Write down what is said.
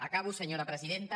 acabo senyora presidenta